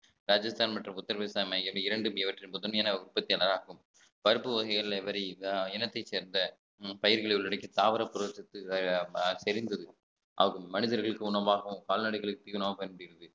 ராஜஸ்தான் மற்றும் உத்தரபிரதேசம் ஆகிய இரண்டும் இவற்றில் முதன்மையான உற்பத்தியாளராகும் பருப்பு வகைகள் இனத்தை சேர்ந்த பயிர்களை உள்ளடக்கி தாவர புரத சத்து தெரிந்தது ஆகும் மனிதர்களுக்கு உணவாகவும் கால்நடைகளுக்கு தீவனமாகவும் பயன்படுகிறது